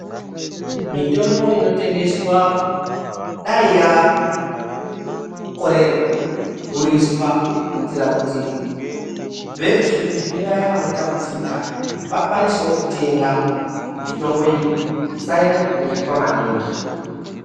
Mitombo inotengeswa dayi yakorera kudhuriswa kuitira kuti veruzhinji nevaya vanotambudzika vakwanisewo kutenga. Mitombo iyi isanyanyokudhuriswa maningi.